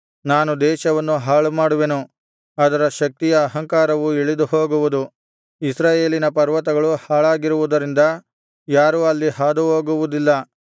ನಾನು ದೇಶವನ್ನು ಹಾಳುಮಾಡುವೆನು ಅದರ ಶಕ್ತಿಯ ಅಹಂಕಾರವು ಇಳಿದು ಹೋಗುವುದು ಇಸ್ರಾಯೇಲಿನ ಪರ್ವತಗಳು ಹಾಳಾಗಿರುವುದರಿಂದ ಯಾರೂ ಅಲ್ಲಿ ಹಾದು ಹೋಗುವುದಿಲ್ಲ